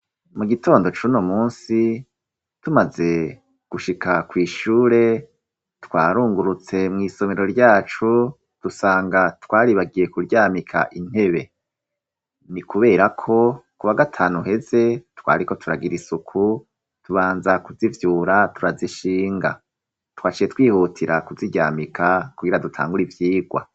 Mu gitondo cuno musi tumaze gushika kw'ishure twarungurutse mw'isomero ryacu dusanga twaribagiye kuryamika intebe ni, kubera ko ku ba gatanu heze twariko turagira isuku tubanza kuzivyura turazishinga twashe twihutira kuziryamika kugira dutangura ivyigwa.